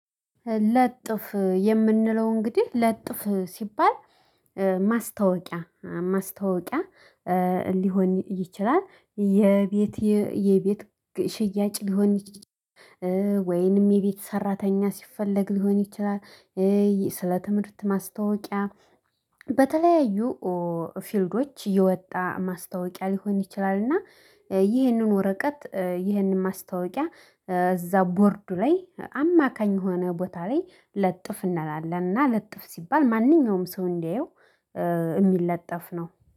ለጥፍ የምንለው እንግዲህ ለጥፍ ሲባል ማስታወቂያ ማስታወቂያ ሊሆን ይችላል የቤት የቤት ሽያጭ ሊሆን ወይንም የቤት ሰራተኛ ሲፈለግ ሊሆን ይችላል። ስለ ትምህርት ማስታወቂያ በተለያዩ ፊልዶች የወጣ ማስታወቂያ ሊሆን ይችላል። እና ይህንን ወረቀት ይህንን ማስታወቂያ እዛ ቦርዱ ላይ አማካኝ የሆነ ቦታ ላይ ለጥፍ እንላለን እና ለጥፍ ሲባል ማንኛውም ሰው እንዲያየው የሚለጠፍ ነው